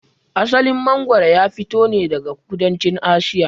Asalin mangwaro ya fito ne daga kudancin Asiya.